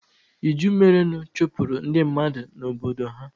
iju merenụ chụpụrụ ndị mmadụ na Obodo ha.